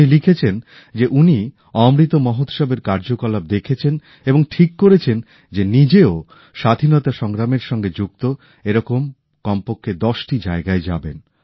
উনি লিখেছেন যে উনি অমৃত মহোৎসবের কার্যকলাপ দেখেছেন এবং ঠিক করেছেন যে নিজেও স্বাধীনতা সংগ্রামের সঙ্গে যুক্ত এরকম কমপক্ষে ১০টি জায়গায় যাবেন